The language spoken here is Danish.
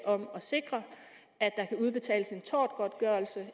om at sikre at der kan udbetales en tortgodtgørelse